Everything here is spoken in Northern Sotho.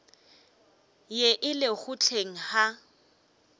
ye e lego hleng ga